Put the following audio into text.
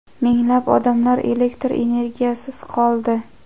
minglab odamlar elektr energiyasisiz qoldi.